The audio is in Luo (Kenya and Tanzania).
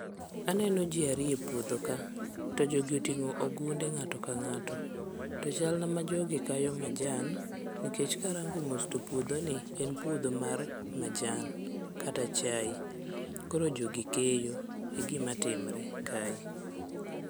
Aneno ji ariyo e puodho ka, to jogi oting'o ogunde ng'ato ka ng'ato. To chalna ma jogi kayo majan, mikech karango mos to puodhoni en puodho mar majan kata chae. Koro jogi keyo, e gima timre kae.